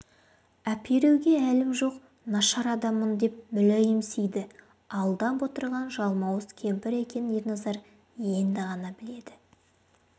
әперуге әлім жоқ нашар адаммын деп мүләйімсиді алдап отырған жалмауыз кемпір екенін ерназар енді ғана біледі